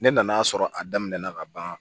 Ne nan'a sɔrɔ a daminɛna ka ban